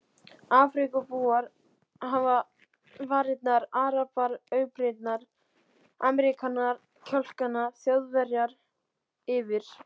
Afríkubúar hafa varirnar, arabar augabrýrnar, Ameríkanar kjálkana, Þjóðverjar yfir